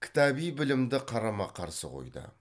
кітаби білімді қарама қарсы қойды